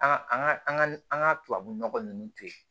An ka an ka an ka an ka tubabunɔgɔ ninnu to yen